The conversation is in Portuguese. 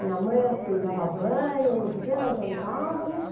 Minha mãe, assim, dava banho, não sei o quê, nós jantávamos.